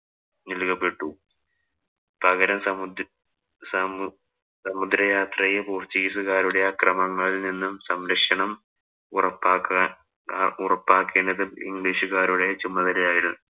നല്‍കപ്പെട്ടു. സമു സമുദ്ര യാത്രയെ പോര്‍ച്ചുഗീസുകാരുടെ അക്രമണങ്ങളില്‍ നിന്ന് സംരക്ഷണം ഉറപ്പാക്കാന്‍ ഉറപ്പാക്കേണ്ടതും ഇംഗ്ലീഷുകാരുടെ ചുമതല ആയിരുന്നു.